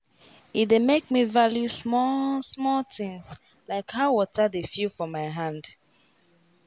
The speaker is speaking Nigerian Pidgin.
e dey make me value small-small things — like how water dey feel for my hand.